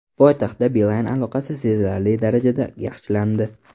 Poytaxtda Beeline aloqasi sezilarli darajada yaxshilandi.